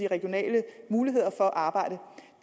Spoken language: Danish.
regionale muligheder for arbejde